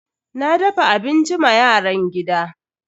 Na dafa abinci ma yaran gida.